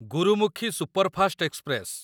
Gurmukhi superfast express